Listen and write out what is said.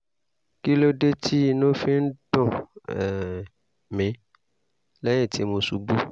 kí ló dé tí inú fi ń dùn um mí lẹ́yìn tí mo ṣubú?